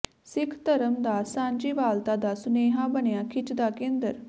ਸਿੱਖ ਧਰਮ ਦਾ ਸਾਂਝੀਵਾਲਤਾ ਦਾ ਸੁਨੇਹਾ ਬਣਿਆ ਖਿੱਚ ਦਾ ਕੇਂਦਰ